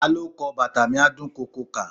Ta ló kọ "Bàtà mi á dún koko kà"?